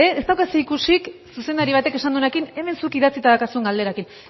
ez dauka zerikusirik zuzendari batek esan duenarekin hemen zuk idatzita daukazun galderarekin